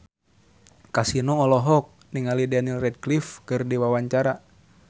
Kasino olohok ningali Daniel Radcliffe keur diwawancara